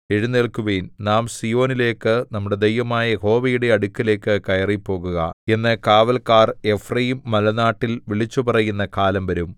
എഴുന്നേല്ക്കുവിൻ നാം സീയോനിലേക്ക് നമ്മുടെ ദൈവമായ യഹോവയുടെ അടുക്കലേക്ക് കയറിപ്പോകുക എന്ന് കാവല്ക്കാർ എഫ്രയീംമലനാട്ടിൽ വിളിച്ചുപറയുന്ന കാലം വരും